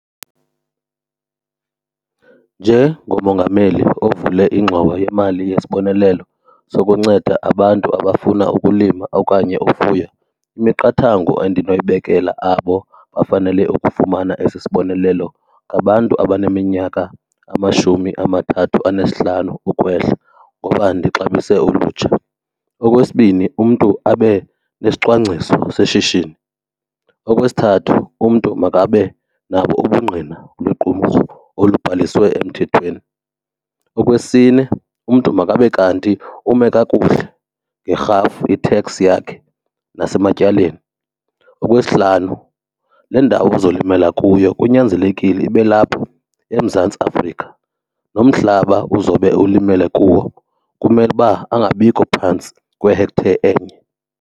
Njengomongameli ovule ingxowa yemali yesibonelelo sokunceda abantu abafuna ukulima okanye ufuya, imiqathango endinoyibekela abo bafanele ukufumana esi sibonelelo ngabantu abaneminyaka ngamashumi amathathu anesihlanu ukwehla ngoba ndixabise ulutsha. Okwesibini umntu abe nesicwangciso seshishini. Okwesithathu umntu makabe nabo ubungqina lwequmrhu olubhaliswe emthethweni. Okwesine umntu makabe kanti ume kakuhle ngerhafu, i-tax yakhe, nasematyaleni. Okwesihlanu le ndawo uzolimela kuyo kunyanzelekile ibe lapho eMzantsi Afrika, nomhlaba uzobe ulimele kuwo kumele uba angabikho phantsi kwe-hectare enye.